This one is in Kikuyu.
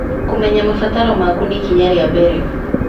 Kũmenya mabataro maku nĩ ikinya rĩa mbere.